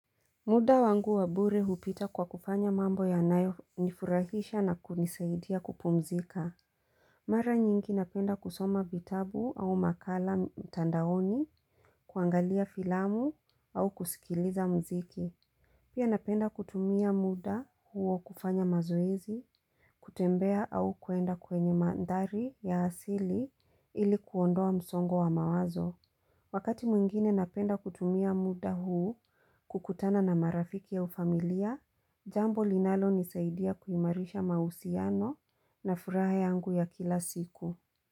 Muda wangu wabure hupita kwa kufanya mambo yanayo nifurahisha na kunisaidia kupumzika. Mara nyingi napenda kusoma vitabu au makala mtandaoni, kuangalia filamu au kusikiliza mziki. Pia napenda kutumia muda huo kufanya mazoezi, kutembea au kuenda kwenye mandhari ya asili ili kuondoa msongo wa mawazo. Wakati mwingine napenda kutumia muda huu kukutana na marafiki au familia, jambo linalonisaidia kuimarisha mahusiano na furaha yangu ya kila siku.